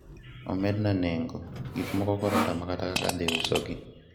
omedna nengo gikmoko koro otama kata kaka adhi usogi